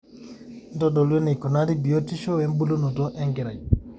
ntodolu eneikunari biotishu wembulunoto enkerai